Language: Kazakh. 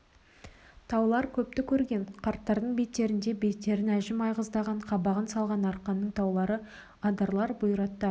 таулар көпті көрген қарттардың беттеріндей беттерін әжім айғыздаған қабағын салған арқаның таулары адырлар бұйраттар